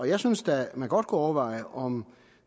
jeg synes da man godt kunne overveje om